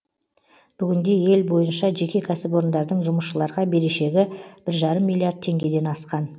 бүгінде ел бойынша жеке кәсіпорындардың жұмысшыларға берешегі бір жарым миллиард теңгеден асқан